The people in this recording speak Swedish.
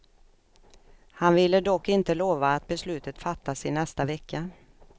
Han ville dock inte lova att beslutet fattas i nästa vecka.